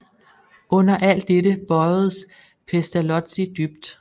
Under alt dette bøjedes Pestalozzi dybt